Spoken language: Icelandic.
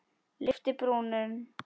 Lyfti brúnum.